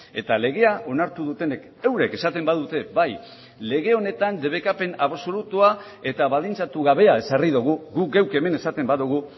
eta legea onartu dutenek eurek esaten badute bai lege honetan debekapen absolutua eta baldintzatu gabea ezarri dugu guk geuk hemen esaten badugu